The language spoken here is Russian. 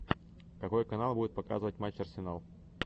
какой канал будет показывать матч арсенал